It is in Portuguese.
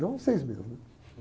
Não seis meses, né?